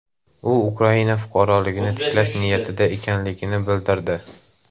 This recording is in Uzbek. U Ukraina fuqaroligini tiklash niyatida ekanligini bildirdi.